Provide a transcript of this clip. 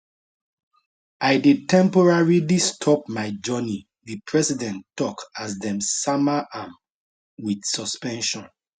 i dey temporarily stop my journey di president tok as dem sama am wit suspension